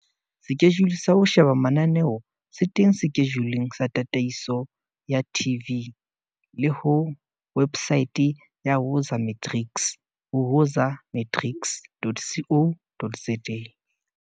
Sekejule sa ho sheba mananeo se teng sekejuleng sa tataiso ya TV le ho wepsaete ya Woza Matrics ho woza-matrics.co.za.